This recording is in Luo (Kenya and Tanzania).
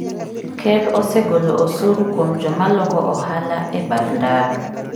Ker osegolo osuru kuom joma loko ohala e bath ndara.